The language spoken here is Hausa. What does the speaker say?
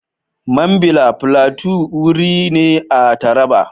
Mambila Plateau wuri ne a Taraba.